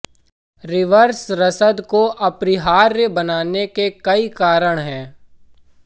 reverse रसद को अपरिहार्य बनाने के कई कारण हैं